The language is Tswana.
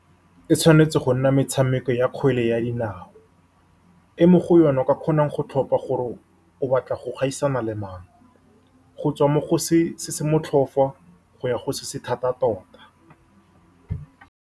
E tshwanetse go nna metshameko ya kgwele ya dinao, e mo go yone o ka kgonang go tlhopha gore o batla go gaisana le mang, go tswa mo go se se motlhofu go ya go se se thata tota.